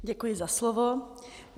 Děkuji za slovo.